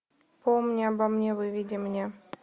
помни обо мне выведи мне